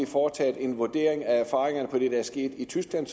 foretaget en vurdering af erfaringerne af det der er sket i tyskland